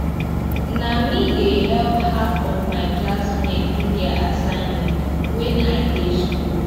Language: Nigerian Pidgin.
na me dey help half of my class mates do their assignment wen i dey school